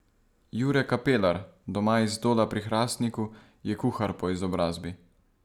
Jure Kapelar, doma iz Dola pri Hrastniku, je kuhar po izobrazbi.